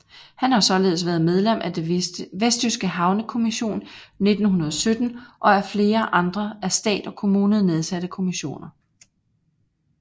Han har således været medlem af den vestjyske havnekommission 1917 og af flere andre af stat og kommune nedsatte kommissioner